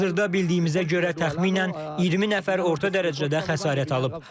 Hazırda bildiyimizə görə təxminən 20 nəfər orta dərəcədə xəsarət alıb.